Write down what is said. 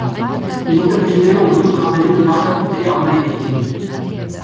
енді біреулері оның қабілетін мақтап бітіре алмайды екен